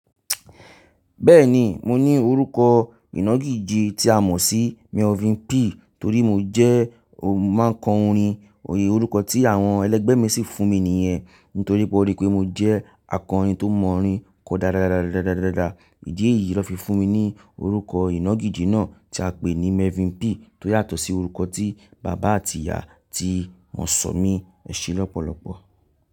Bẹ́ẹ̀ni, mo ní orúkọ ìnagijì tí a mọ̀ sí Melvin P. Torí mo jẹ́, mo máa ń kọ orin. Òye orúkọ tí àwọn ẹlẹ́gbẹ́ mi sì fún mi nìyẹn. Nítorí pé wọ́n rí pé mo jẹ́ akọrin tó mọ orin kọ dáradára. Ìdí èyí ló fi fún mi ní orúkọ ìnagijì náà tí a pè ní Melvin P. Tó yàtọ̀ sí orúkọ tí bàbá àti ìyá ti wọ́n sọ mí, ẹ̀ ṣe lọ́pọ̀lọpọ̀.